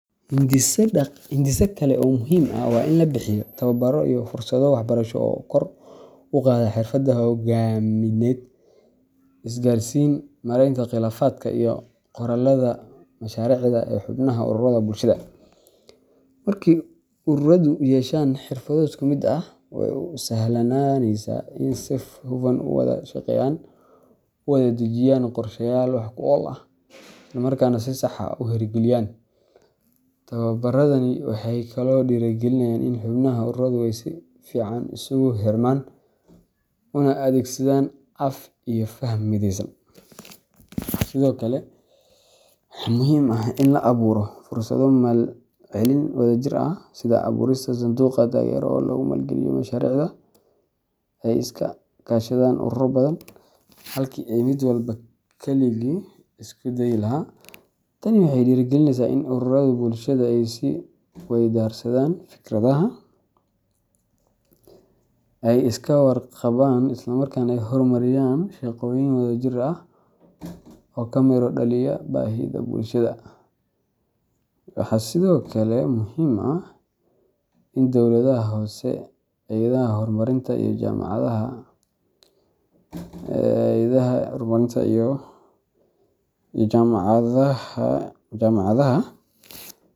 Hindise kale oo muhiim ah waa in la bixiyaa tababaro iyo fursado waxbarasho oo kor u qaada xirfadaha hogaamineed, isgaarsiin, maaraynta khilaafaadka, iyo qoraallada mashaariicda ee xubnaha ururada bulshada. Markii ururadu yeeshaan xirfado isku mid ah, waxay u sahlanaanaysaa in ay si hufan u wada shaqeeyaan, u wada dejiyaan qorshayaal wax-ku-ool ah, islamarkaana si sax ah u hirgeliyaan. Tababaradani waxay kaloo dhiirrigelinayaan in xubnaha ururadu ay si fiican isugu xirmaan, una adeegsadaan af iyo faham mideysan. Sidoo kale, waxaa muhiim ah in la abuuro fursado maalgelin wadajir ah, sida abuurista sanduuqyo taageero oo lagu maalgeliyo mashaariicda ay iska kaashadaan ururo badan, halkii ay mid walba kaligii isku dayi lahaa. Tani waxay dhiirrigelineysaa in ururrada bulshada ay is weydaarsadaan fikradaha, ay iska warqabaan, isla markaana ay horumariyaan shaqooyin wadajir ah oo ka miro dhaliya baahida bulshada. Waxaa sidoo kale muhiim ah in dawladaha hoose, hay’adaha horumarinta, iyo jaamacadaha.